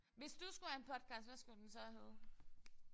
Hvis du skulle have en podcast hvad skulle den så hedde?